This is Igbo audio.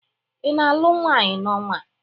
Ị na-alụ nwaanyị n'ọnwa a?